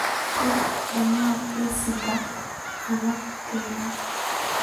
qor dhammaan liisaska qalabkan